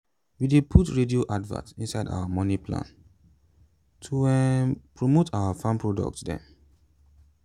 we dey put radio advert inside our moni plan to um promote our farm product dem